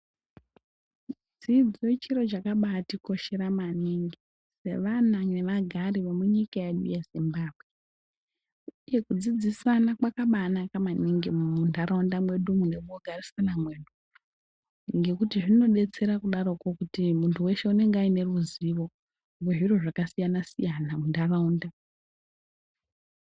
Dzidzo chiro chakabatikoshera maningi sevana nevagari vemunyika yedu yeZimbabwe. Uye kudzidzisana kwakabanaka muntaraunda mwedumwo nemukugarisana mwedu ngekuti zvinodetsera kudaroko kuti muntu weshe unenge une ruzivo wezviro zvakasiyana siyana muntaraunda.